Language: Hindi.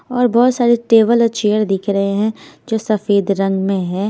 और बहोत सारे टेबल और चेयर दिख रहे हैं जो सफेद रंग में है।